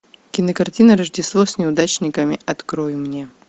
кинокартина рождество с неудачниками открой мне